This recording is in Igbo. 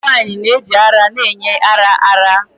Ụmụ nwanyị na-eji ara na-enye ara ara.